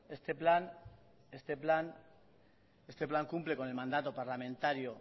este plan cumple con el mandato parlamentario